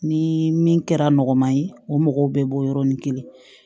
Ni min kɛra nɔgɔman ye o mɔgɔw bɛ bɔ yɔrɔnin kelen